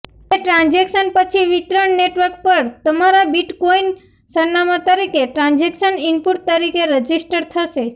તે ટ્રાન્ઝેક્શન પછી વિતરણ નેટવર્ક પર તમારા બિટકોઇન સરનામાં તરીકે ટ્રાંઝેક્શન ઇનપુટ તરીકે રજીસ્ટર થશે